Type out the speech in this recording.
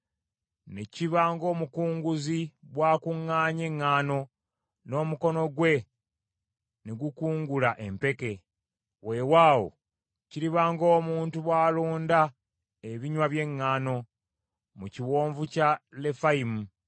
Ne kiba ng’omukunguzi bw’akuŋŋaanya eŋŋaano, n’omukono gwe ne gukungula empeke; weewaawo kiriba ng’omuntu bw’alonda ebinywa by’eŋŋaano mu Kiwonvu kya Lefayimu.